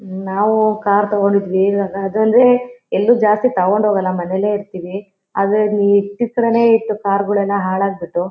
ನಾವು ಕಾರ್ ತಕೊಂಡಿದ್ದವಿ ಈವಾಗ ಅದಂದ್ರೆ ಎಲ್ಲು ಜಾಸ್ತಿ ತಕೊಂಡ್ ಹೋಗಲ್ಲಾ ಮನೇಲೆ ಇರತ್ತಿವಿ ಆದ್ರೆ ಇಲ್ಲಿ ಇಟ್ಟಿದ್ ಕಡೆನೇ ಇಟ್ಟು ಕಾರ್ಗಳೆಲ್ಲಾ ಹಾಳಾಗಬಿಟ್ಟು--